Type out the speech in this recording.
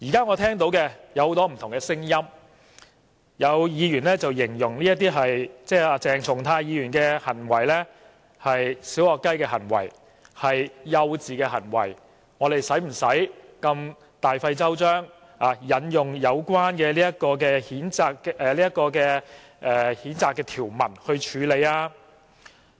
我聽到了很多不同的聲音，有議員形容鄭松泰議員的行為是"小學雞"、幼稚，我們何用大費周章，引用有關譴責的《議事規則》條文來處理？